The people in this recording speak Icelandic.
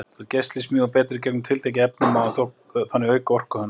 Til að geisli smjúgi betur í gegnum tiltekið efni má þannig auka orku hans.